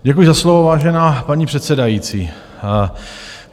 Děkuji za slovo, vážená paní předsedající.